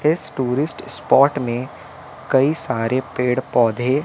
इस tourist spot में कई सारे पेड़ पौधे--